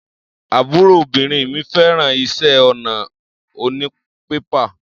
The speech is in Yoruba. Àbúròbìnrin mi fẹ́ràn iṣẹ́ ọnà onípépà.